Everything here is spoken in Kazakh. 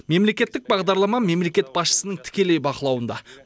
мемлекеттік бағдарлама мемлекет басшысының тікелей бақылауында